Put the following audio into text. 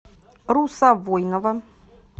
руса войнова